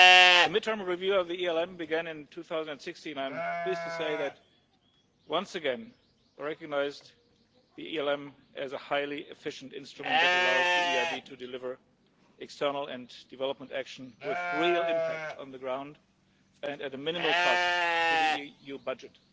The mid term review of the ELM began in 2016 and I'm pleased to say it once again recognised the ELM as a highly efficient instrument that allows the EIB to deliver external and development action with real impact on the ground and at a minimal cost to the EU budget.